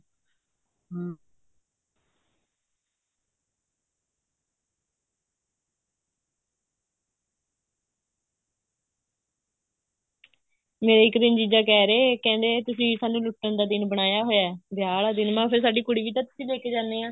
ਮੇਰਾ ਇੱਕ ਦਿਨ ਜੀਜਾ ਕਹਿ ਰਹੇ ਕਹਿੰਦੇ ਵੀ ਤੁਸੀਂ ਸਾਨੂੰ ਲੁੱਟਣ ਦਾ ਦਿਨ ਬਣਾਇਆ ਹੋਇਆ ਵਿਆਹ ਦਾ ਦਿਨ ਮੈਂ ਕਿਹਾ ਫ਼ੇਰ ਸਾਡੀ ਕੁੜੀ ਵੀ ਤਾਂ ਤੁਸੀਂ ਲੈਕੇ ਜਾਣੇ ਹਾਂ